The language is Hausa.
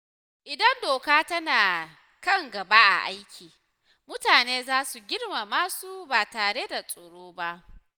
Idan doka tana kan gaba a aiki, mutane za su girmama su ba tare da tsoro ba.